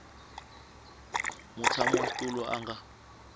mutshami wa xitulu a nga